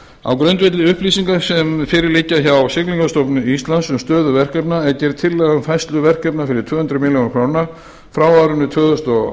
á grundvelli upplýsinga sem fyrir liggja hjá siglingastofnun íslands um stöðu verkefna er gerð tillaga um færslu verkefna fyrir tvö hundruð milljóna króna frá árinu tvö þúsund og